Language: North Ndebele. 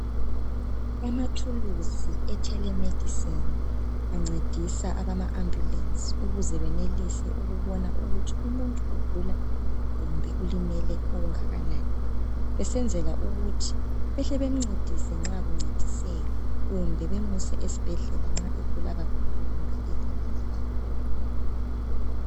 Amathuluzi e telemedicine ancedisa abama ambulesi ukuze benelise ukubona ukuthi umuntu ugula kumbe ulimele okungakanai, besenzela ukuthi behle bemncedise nxa kuncediseka, kumbe bemuse esibhedlela nxa egula kakhulu kumbe elimele kakhulu.